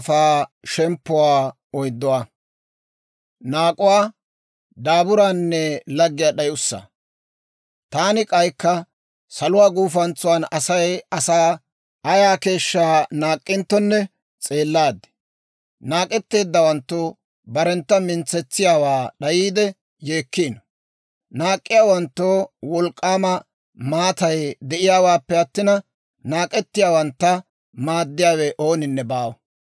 Taani k'aykka, saluwaa gufantsan Asay asaa ayaa keeshshaa naak'k'inttonne s'eellaad. Naak'etteeddawanttu barentta mintsetsiyaawaa d'ayiide yeekkiino. Naak'k'iyaawanttoo wolk'k'aama maatay de'iyaawaappe attina, naak'ettiyaawantta maaddiyaawe ooninne baawa.